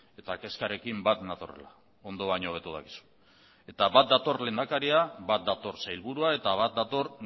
eta kezkarekin bat natorrela ondo baino hobeto dakizu eta bat dator lehendakaria bat dator sailburua eta bat dator